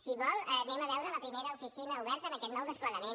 si vol anem a veure la primera oficina oberta en aquest nou desplegament